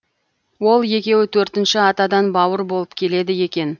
ол екеуі төртінші атадан бауыр болып келеді екен